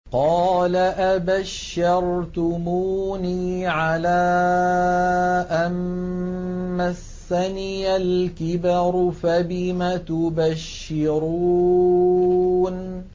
قَالَ أَبَشَّرْتُمُونِي عَلَىٰ أَن مَّسَّنِيَ الْكِبَرُ فَبِمَ تُبَشِّرُونَ